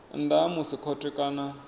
nnḓa ha musi khothe kana